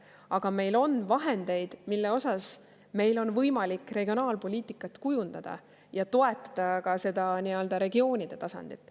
Aga meil on vahendeid, mille osas meil on võimalik regionaalpoliitikat kujundada ja toetada ka seda nii-öelda regioonide tasandit.